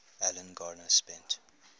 alan garner spent